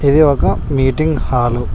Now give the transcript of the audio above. ఇది ఒక meeting hall .